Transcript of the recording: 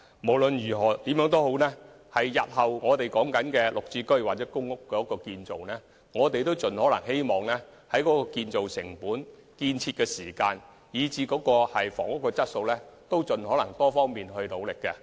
無論如何，日後興建"綠置居"或公屋單位時，我們會盡可能在建造成本、建造時間以至房屋質素等方面加倍努力。